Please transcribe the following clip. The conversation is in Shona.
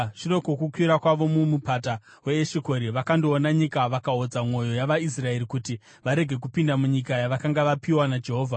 Shure kwokukwira kwavo kuMupata weEshikori vakandoona nyika, vakaodza mwoyo yavaIsraeri kuti varege kupinda munyika yavakanga vapiwa naJehovha.